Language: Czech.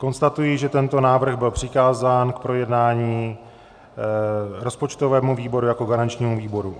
Konstatuji, že tento návrh byl přikázán k projednání rozpočtovému výboru jako garančnímu výboru.